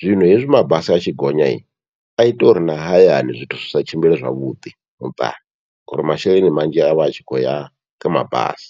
Zwino hezwi mabasi atshi gonya aita uri na hayani zwithu zwi sa tshimbile zwavhuḓi muṱani, ngori masheleni manzhi avha atshi khou ya kha mabasi.